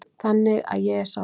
Þannig að ég er sáttur.